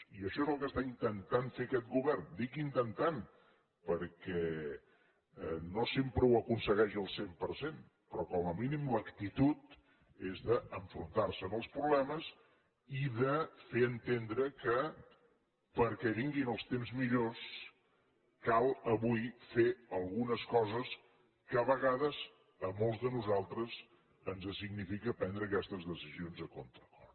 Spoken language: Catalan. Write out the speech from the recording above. i això és el que està intentant fer aquest govern dic intentant perquè no sempre ho aconsegueix al cent per cent però com a mínim l’actitud és d’enfrontar se amb els problemes i de fer entendre que perquè vinguin els temps millors cal avui fer algunes coses que a vegades a molts de nosaltres ens signifiquen prendre aquestes decisions a contracor